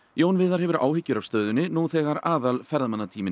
Jón Viðar hefur áhyggjur af stöðunni nú þegar